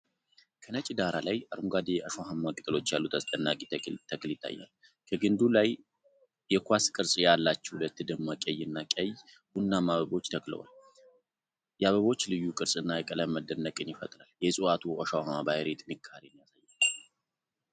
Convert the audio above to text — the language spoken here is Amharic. ከነጭ ዳራ ላይ አረንጓዴ፣ እሾሃማ ቅጠሎች ያሉት አስደናቂ ተክል ይታያል። ከግንዱ ላይ የኳስ ቅርጽ ያላቸው ሁለት ደማቅ ቀይና ቀይ ቡናማ አበቦች ተክለዋል። የአበቦቹ ልዩ ቅርጽና ቀለም መደነቅን ይፈጥራሉ። የዕፅዋቱ እሾሃማ ባህሪ ጥንካሬን ያሳያል።